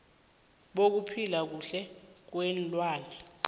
bokuphila kuhle kweenlwana